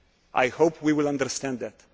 I hope we will understand that.